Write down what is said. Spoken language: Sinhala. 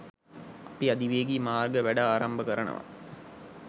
අපි අධිවේගී මාර්ග වැඩ ආරම්භ කරනවා.